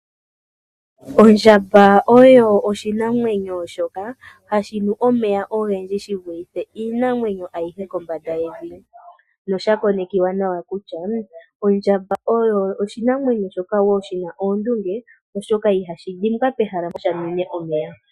Ondjamba oyo oshinamwenyo shoka hashi nu omeya ogendji shi vulithe iinamwenyo ayihe kombanda yevi. Osha konekiwa nawa kutya osho oshinamwenyo shoka shi na oondunge, oshoka ihashi dhimbwa pehala mpoka sha nwine omeya.